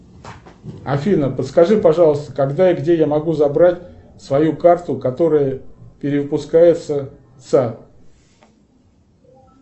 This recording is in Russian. афина подскажи пожалуйста когда и где я могу забрать свою карту которая перевыпускается